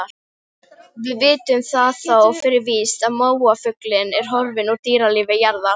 Gunnlöð, stilltu tímamælinn á fjörutíu og fjórar mínútur.